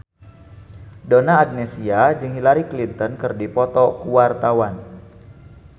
Donna Agnesia jeung Hillary Clinton keur dipoto ku wartawan